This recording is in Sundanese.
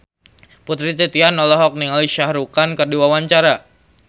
Putri Titian olohok ningali Shah Rukh Khan keur diwawancara